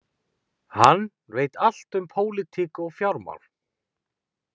Hann veit allt um pólitík og fjármál